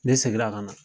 Ne seginna ka na